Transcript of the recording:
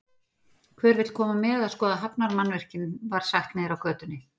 Hver vill koma með að skoða hafnarmannvirkin, var sagt niðri á götunni.